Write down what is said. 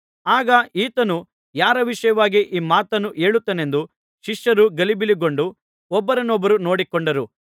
ಆಗ ಈತನು ಯಾರ ವಿಷಯವಾಗಿ ಈ ಮಾತನ್ನು ಹೇಳುತ್ತಾನೆಂದು ಶಿಷ್ಯರು ಗಲಿಬಿಲಿಗೊಂಡು ಒಬ್ಬರನೊಬ್ಬರು ನೋಡಿಕೊಂಡರು